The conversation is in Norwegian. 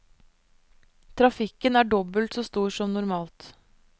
Trafikken er dobbelt så stor som normalt.